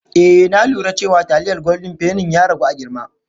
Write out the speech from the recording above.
Eh na lura cewa taliyar goldin fenin ya ragu a girma.